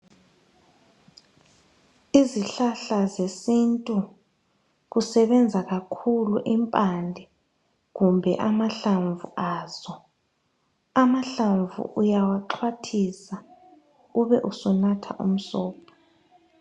Izihlahla zesintu kusebenza kakhulu impande kumbe amahlamvu azo, amahlamvu uyawaqhathisa ubusuthatha umsobho.